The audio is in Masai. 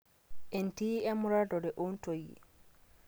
entii emuratare oontoyie